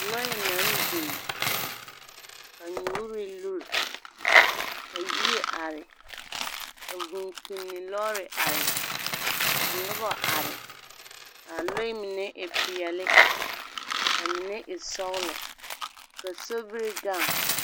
Lͻԑ naŋ biŋ, ka nyoore lure, ka yie are. Ka vũũ kpinni lͻͻre are. Ka noba are. Kaa lͻԑ mine e peԑle ka mine e sͻgelͻ, ka sobiri gaŋ.